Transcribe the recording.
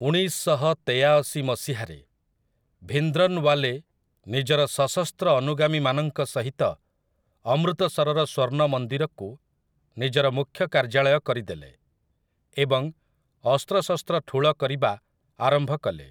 ଉଣେଇଶ ଶହ ତେୟାଅଶୀ ମସିହାରେ, ଭିନ୍ଦ୍ରନ୍‌ଓ୍ୱାଲେ ନିଜର ସଶସ୍ତ୍ର ଅନୁଗାମୀମାନଙ୍କ ସହିତ ଅମୃତସରର ସ୍ୱର୍ଣ୍ଣ ମନ୍ଦିରକୁ ନିଜର ମୁଖ୍ୟ କାର୍ଯ୍ୟାଳୟ କରିଦେଲେ, ଏବଂ ଅସ୍ତ୍ରଶସ୍ତ୍ର ଠୁଳ କରିବା ଆରମ୍ଭ କଲେ ।